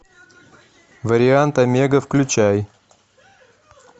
вариант омега включай